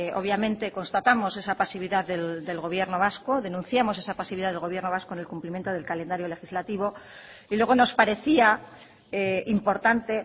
obviamente constatamos esa pasividad del gobierno vasco denunciamos esa pasividad del gobierno vasco en el cumplimiento del calendario legislativo y luego nos parecía importante